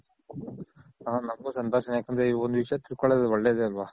ಹ ನಂಗು ಸಂತೋಷ ನೆ ಯಾಕಂದ್ರೆ ಒಂದ್ ವಿಷ್ಯ ತಿಳ್ಕೊಳೋದು ಒಳ್ಳೆದೆ ಅಲ್ವ.